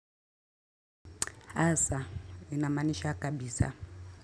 Asa, inamanisha kabisa.